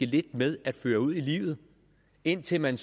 lidt med at føre ud i livet indtil man